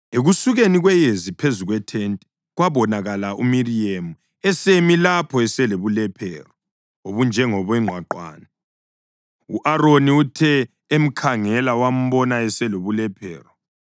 Ekusukeni kweyezi phezu kwethente, kwabonakala uMiriyemu esemi lapho eselobulephero obunjengongqwaqwane. U-Aroni uthe emkhangela wambona eselobulephero;